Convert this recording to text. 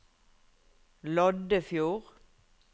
Loddefjord